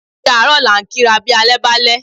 Ódi àárọ̀ la ń kí ra bí alẹ́ bàlẹ̀